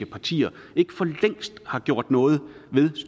partier ikke for længst har gjort noget ved